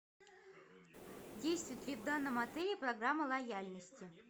действует ли в данном отеле программа лояльности